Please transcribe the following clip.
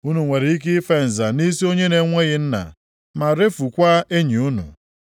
Unu nwere ike ife nza nʼisi onye na-enweghị nna, ma refukwaa enyi unu.